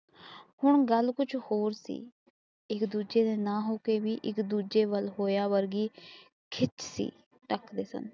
ਹੁਣ ਗੱਲ ਕੁਛ ਹੋਰ ਸੀ ਇਕ ਦੂਜੇ ਦੇ ਨਾ ਹੋਕੇ ਵੀ ਇਕ ਦੂਜੇ ਵੱਲ ਹੋਰਾ ਵਰਗੀ ਖਿੱਚ ਸੀ ਸੱਚ ਕਸਮ